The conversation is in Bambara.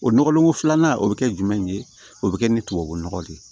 O nɔgɔlen ko filanan o bɛ kɛ jumɛn ye o bɛ kɛ ni tubabunɔgɔ de ye